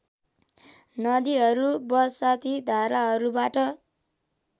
नदीहरू बरसाती धाराहरूबाट